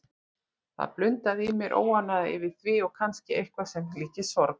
Það blundaði í mér óánægja yfir því og kannski eitthvað sem líktist sorg.